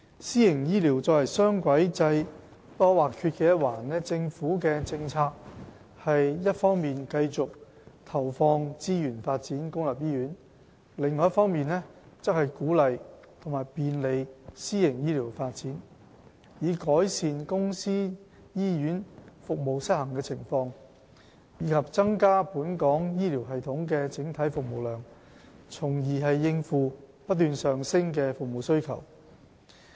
私營醫療作為雙軌制不可或缺的一環，政府的政策是一方面繼續投放資源發展公立醫院，另一方面則鼓勵和便利私營醫療發展，以改善公私營醫院服務失衡的情況，以及增加本港醫療系統的整體服務量，從而應付不斷上升的服務需求。